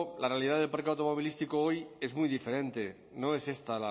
la realidad del parque automovilístico hoy es muy diferente no es esta